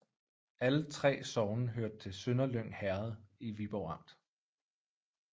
Alle 3 sogne hørte til Sønderlyng Herred i Viborg Amt